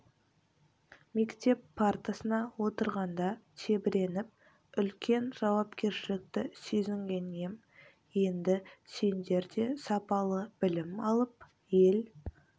мектеп партасына отырғанда тебіреніп үлкен жауапкершілікті сезінген ем енді сендер де сапалы білім алып ел